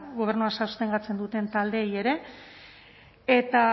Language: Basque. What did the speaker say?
gobernua sostengatzen duten taldeei ere eta